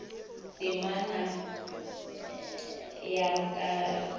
temana ya re ka no